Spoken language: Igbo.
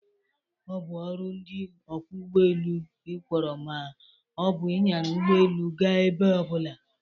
Ọ bụ ọrụ ndị ọkwọ ụgbọelu ịkwọrọ ma ọ bụ ịnyara ụgbọelu gaa ebe ọbụla.